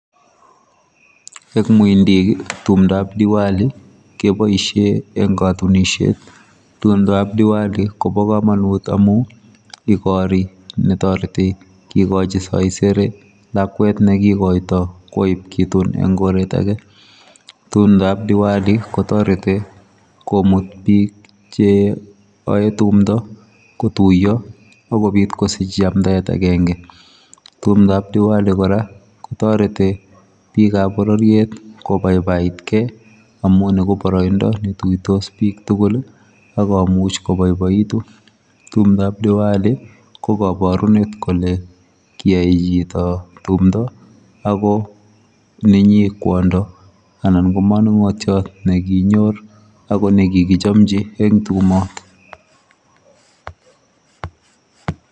Eng muindiik ii timdaap tiwali kebaisheen eng katunisiet ,timdaap tiwali Kobo kamanut amuun igorii ne taretii kikochiin saisere lakwet nekikaitoi koib kituun en koreet age, timdaap tiwali komuut biig che yae tumndo ko tuyaa ako Biit kosiich yamdaet agenge, timdaap tiwali kora ko taretii biik ab borororiet ko baibait kei amuun ni ko baraindaa ne tuitos biik tugul akomuuch kobaibaituun, timdaap tiwali ko kabarunet kole kiyae chitoo tumdaa ako mingiin kwondo ako maningotiot nekanyoor ako ko nekikkjamjii eng tumaat oton.